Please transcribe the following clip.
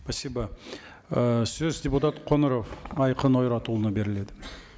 спасибо ы сөз депутат қоңыров айқын ойратұлына беріледі